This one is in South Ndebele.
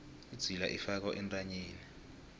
idzila ifakwa entanyeni